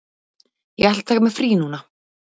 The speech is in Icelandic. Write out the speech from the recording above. Ég ætla að taka mér frí núna.